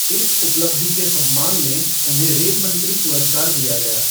इस उपलब्धि के सम्मान में उन्हें रेल मंत्री पुरस्कार दिया गया।